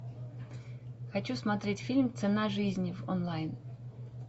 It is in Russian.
хочу смотреть фильм цена жизни в онлайн